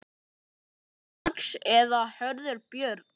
Sonur Karls er Hörður Björn.